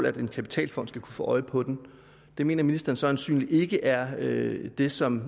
at en kapitalfond skal kunne få øje på den det mener ministeren så øjensynligt ikke er det som